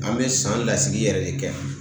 An bɛ san lasigi yɛrɛ de kɛ